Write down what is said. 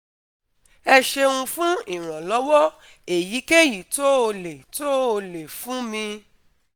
ẹ ṣeun fún ìrànlọ́wọ́ èyíkéyìí tó o lè tó o lè fún mi